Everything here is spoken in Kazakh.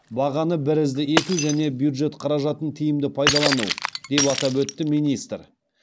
бағаны бірізді ету және бюджет қаражатын тиімді пайдалану деп атап өтті министр